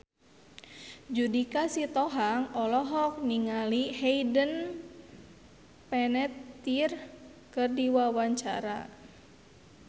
Judika Sitohang olohok ningali Hayden Panettiere keur diwawancara